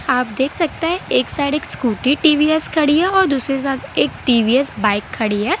आप देख सकते हैं एक साइड एक स्कूटी टी_वीए_स खड़ी है और दूसरे साथ एक टी_वी_एस बाइक खड़ी है।